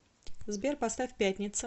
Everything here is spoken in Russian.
сбер поставь пятница